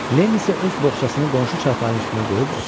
Lenny isə öz boxçasını qonşu çarpayının üstünə qoyub oturdu.